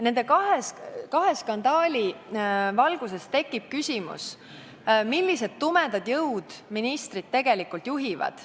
Nende kahe skandaali valguses tekib küsimus, millised tumedad jõud ministrit tegelikult juhivad.